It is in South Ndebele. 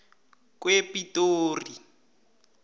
kwepitori